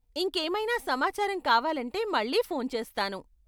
ఇంకేమైనా సమాచారం కావాలంటే మళ్ళీ ఫోన్ చేస్తాను.